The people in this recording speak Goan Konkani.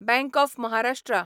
bank of Maharashtra